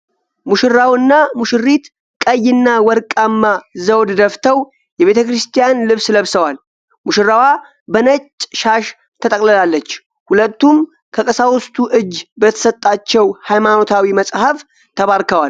ሙሽራውና ሙሽሪት ቀይና ወርቃማ ዘውድ ደፍተው የቤተ ክርስቲያን ልብስ ለብሰዋል። ሙሽራዋ በነጭ ሻሽ ተጠቅልላለች፤ ሁለቱም ከቀሳውስቱ እጅ በተሰጣቸው ሃይማኖታዊ መጽሐፍ ተባርከዋል።